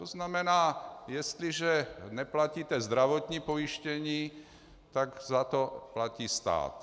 To znamená, jestliže neplatíte zdravotní pojištění, tak za to platí stát.